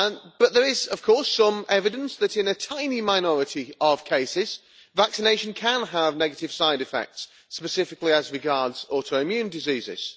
But there is, of course, some evidence that in a tiny minority of cases vaccination can have negative side effects specifically as regards autoimmune diseases.